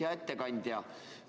Hea ettekandja!